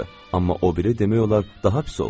Amma o biri demək olar daha pis oldu.